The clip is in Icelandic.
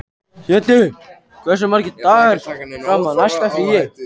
Hedí, hversu margir dagar fram að næsta fríi?